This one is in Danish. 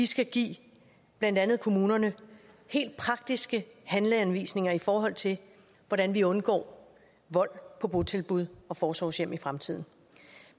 skal give blandt andet kommunerne helt praktiske handleanvisninger i forhold til hvordan vi undgår vold på botilbud og forsorgshjem i fremtiden